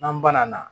N'an banana